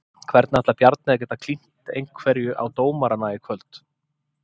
Hvernig ætlar Bjarni að geta klínt einhverju á dómarana í kvöld?